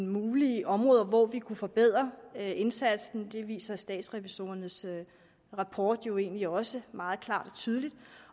mulige områder hvor vi kunne forbedre indsatsen det viser statsrevisorernes rapport jo egentlig også meget klart og tydeligt